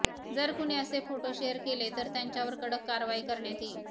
जर कुणी असे फोटो शेअर केले तर त्यांच्यावर कडक कारवाई करण्यात येईल